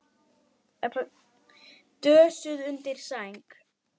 Dösuð undir sæng.